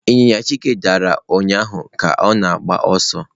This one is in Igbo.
Ịnyịnya Chike dara ụnyahụ ga-agba ọsọ.